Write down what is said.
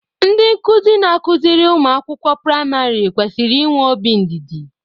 Ndị nkụzi na akụziri ụmụ akwụkwọ priamarị kwesịrị inwe obi ndidi.